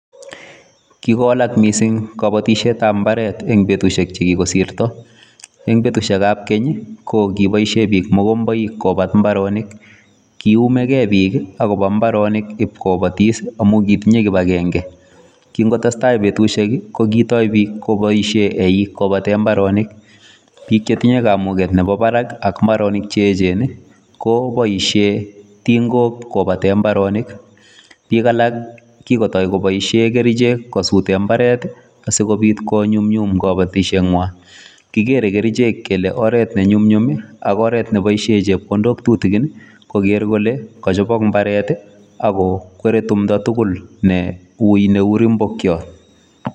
Kikowalak missing kabatisyeet ab mbaret eng betusiek che kikosirto eng betusiek ab keeny ii ko kiboisien biik mogombaik kobaat mbaronik kii ume gei biik agobo mbaronik iip kobatis amuun kitinyei kibangengei kingotestai betusiek ko kibaisheen biik eiig kobateen mbaronik biik che tinyei kamuget ak mbaronik che eecheen ko boisien tingook kobateen mbaronik biik alak kiin koboisien kercheek ko suteen mbaret ii asikobiit ko nyumnyum kabatisyeet nywaany kigere kercheek kele oret ne nyumnyum ii ak oret ne boisien chepkondook tutukiin koger kole kachabaak mbaret ii ako kwere tumdoi tugul ne wui ne uu limpokiat.